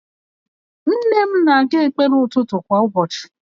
Nne m na-aga ekpere ụtụtụ kwa ụbọchị